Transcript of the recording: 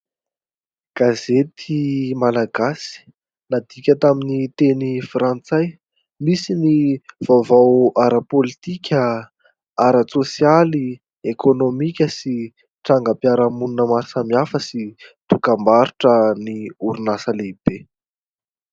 Gazety malagasy nadiaka tamin'ny teny frantsay. Misy ny vaovao ara-politika, ara-tsosialy, ekonomika sy trangam-piarahamonina maro samy hafa sy dokam-barotra ny orinasa lehibe.